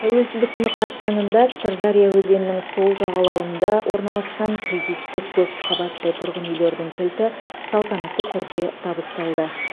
тәуелсіздік күні қарсаңында сырдария өзенінің сол жағалауында орналасқан кредиттік көпқабатты тұрғын үйлердің кілті салтанатты түрде табысталды